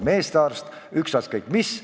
Ilma terve kodanikkonnata pole mõtet riiki ehitada.